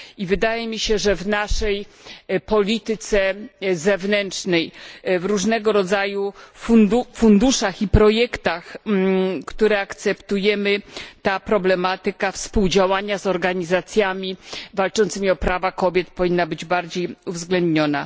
Wydaje mi się, że w naszej polityce zewnętrznej, różnego rodzaju funduszach i projektach, które akceptujemy, ta problematyka współdziałania z organizacjami walczącymi o prawa kobiet powinna być bardziej uwzględniona.